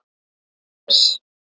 Jens